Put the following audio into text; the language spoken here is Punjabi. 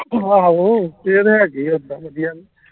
ਆਹੋ ਇਹ ਤੇ ਹੈਗੇ ਉਦਾ ਵਧਿਆ